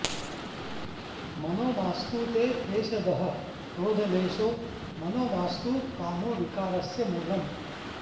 मनो माऽस्तु ते क्लेशदः क्रोधलेशो मनो माऽस्तु कामो विकारस्य मूलम्